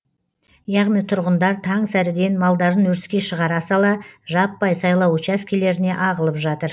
яғни тұрғындар таң сәріден малдарын өріске шығара сала жаппай сайлау учаскелеріне ағылып жатыр